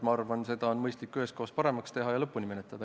Ma arvan, et mõistlik on seda üheskoos paremaks teha ja see lõpuni menetleda.